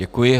Děkuji.